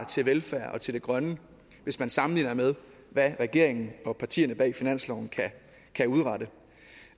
til velfærd og til det grønne hvis man sammenligner med hvad regeringen og partierne bag finansloven kan udrette